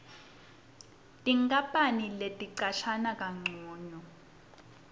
tinkapani ticashana kancono